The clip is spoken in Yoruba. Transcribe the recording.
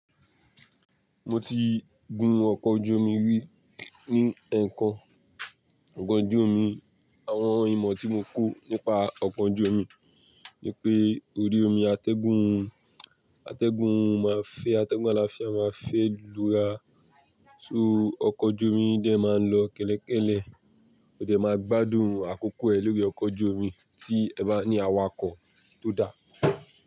Mo ti gun ọkọ̀ ojú omi rí, ní ẹ̀ẹ̀kan ọkọ̀ ojú omi, àwọn ìmọ̀ tí mo kò nípa ọkọ̀ ojú omi ni pé orí omi atẹ́gùn, atẹ́gùn máa ń fẹ́ atẹ́gùn àlàáfíà máa ń fẹ́ lura, so, ọkọ̀ ojú omi yii dẹ máa ń lọ. Kẹ́lẹ́ kẹ́lẹ́, o dẹ máa gbádùn àkókò ẹ lórí ọkọ̀ ojú omi tí ẹ bá ní awakọ̀ tó dá.